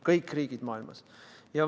Kõik riigid maailmas!